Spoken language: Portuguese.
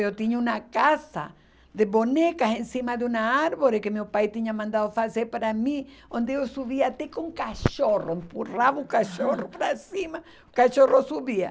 Eu tinha uma casa de bonecas em cima de uma árvore que meu pai tinha mandado fazer para mim, onde eu subia até com o cachorro, empurrava o cachorro para cima, o cachorro subia.